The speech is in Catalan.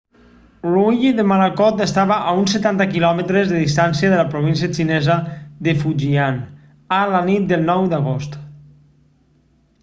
l'ull de morakot estava a uns setanta quilòmetres de distància de la província xinesa de fujian a la nit del 9 d'agost